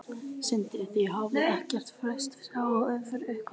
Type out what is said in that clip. Sindri: Þið hafið ekkert freistast sjálfir til að setja félagið á markað?